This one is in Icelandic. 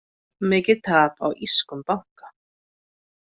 Mikið tap á írskum banka